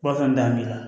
Wa fɛn bɛɛ da b'i la